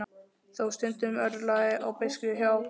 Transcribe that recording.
Þó stundum örlaði á beiskju hjá